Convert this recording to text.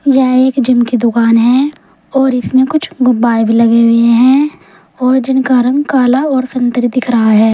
यह एक जिम की दुकान है और इसमें कुछ गुब्बारे भी लगे हुए हैं और जिनका रंग काला और संत्री दिख रहा है।